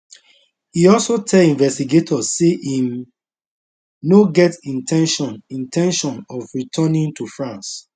e also tell investigators say im no get in ten tion in ten tion of returning to france